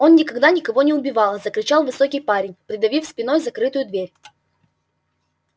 он никогда никого не убивал закричал высокий парень придавив спиной закрытую дверь